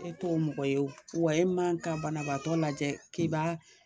E t'o mɔgɔ ye o, wa i man kan ka banabaatɔ lajɛ k'e b'a